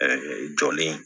jɔlen